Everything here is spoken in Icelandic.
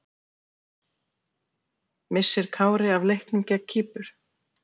Missir Kári af leiknum gegn Kýpur?